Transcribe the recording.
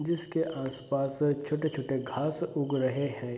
जिसके आस-पास अ छोटे-छोटे घास उग रहे है।